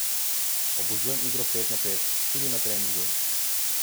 Obožujem igro pet na pet, tudi na treningu.